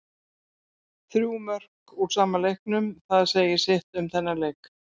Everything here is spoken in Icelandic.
Þrjú mörk úr sama leiknum, það segir sitt um þennan leik.